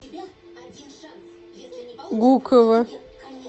гуково